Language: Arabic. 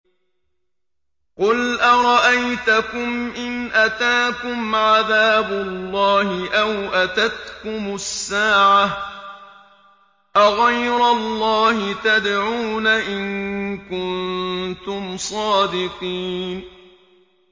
قُلْ أَرَأَيْتَكُمْ إِنْ أَتَاكُمْ عَذَابُ اللَّهِ أَوْ أَتَتْكُمُ السَّاعَةُ أَغَيْرَ اللَّهِ تَدْعُونَ إِن كُنتُمْ صَادِقِينَ